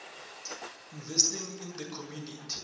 investing in the community